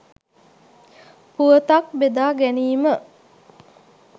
පුවතක් බෙදා ගැනීම